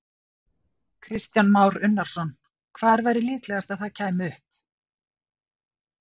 Kristján Már Unnarsson: Hvar væri líklegast að það kæmi upp?